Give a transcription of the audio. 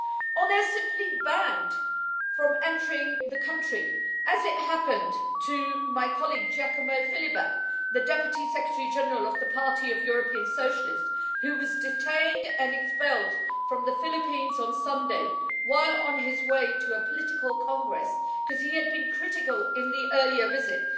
Or they're simply banned from entering the country, as happened to my colleague Giacomo Filibeck, the Deputy Secretary General of the Party of European Socialists, who was detained and expelled from the Philippines on Sunday while on his way to a political congress, because he had been critical in the earlier visit.